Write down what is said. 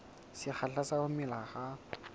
sekgahla sa ho mela ha